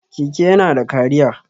Keke yana da cariya.